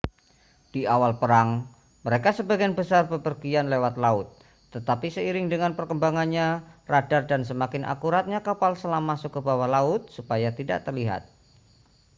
di awal perang mereka sebagian besar bepergian lewat laut tetapi seiring dengan berkembangnya radar dan semakin akuratnya kapal selam masuk ke bawah laut supaya tidak terlihat